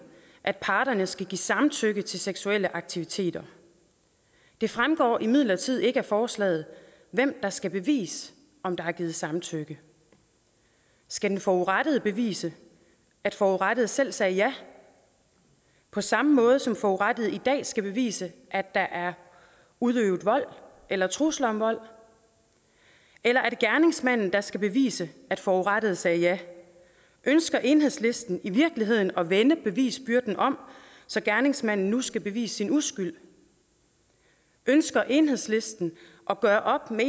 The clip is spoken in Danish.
at parterne skal give samtykke til seksuelle aktiviteter det fremgår imidlertid ikke af forslaget hvem der skal bevise om der er givet samtykke skal den forurettede bevise at forurettede selv sagde ja på samme måde som forurettede i dag skal bevise at der er udøvet vold eller trusler om vold eller er det gerningsmanden der skal bevise at forurettede sagde ja ønsker enhedslisten i virkeligheden at vende bevisbyrden om så gerningsmanden nu skal bevise sin uskyld ønsker enhedslisten at gøre op med